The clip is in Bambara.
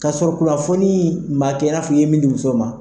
Ka sɔrɔ kunnafoni ni ma kɛ i n'a fɔ i ye min di muso ma.